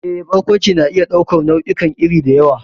Eh, Barkwanci na iya ɗaukar nau'ikan iri da yawa,